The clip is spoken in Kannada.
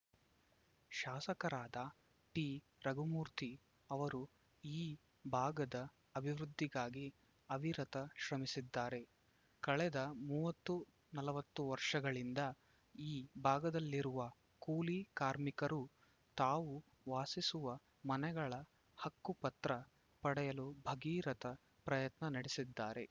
ಶಾಸಕರಾದ ಟಿರಘುಮೂರ್ತಿ ಅವರು ಈ ಭಾಗದ ಅಭಿವೃದ್ಧಿಗಾಗಿ ಅವಿರತ ಶ್ರಮಿಸಿದ್ದಾರೆ ಕಳೆದ ಮೂವತ್ತು ನಲವತ್ತು ವರ್ಷಗಳಿಂದ ಈ ಭಾಗದಲ್ಲಿರುವ ಕೂಲಿ ಕಾರ್ಮಿಕರು ತಾವು ವಾಸಿಸುವ ಮನೆಗಳ ಹಕ್ಕು ಪತ್ರ ಪಡೆಯಲು ಭಗೀರಥ ಪ್ರಯತ್ನ ನಡೆಸಿದ್ದಾರೆ